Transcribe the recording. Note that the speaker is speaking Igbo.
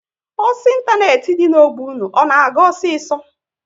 Ọsọ ịntanetị dị n'ogbe unu, ọ na-aga osiso?